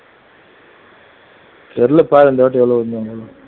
தெரியலப்பா இந்த வாட்டி எவ்வளவுன்னு